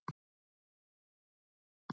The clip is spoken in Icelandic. Þau litu vel út.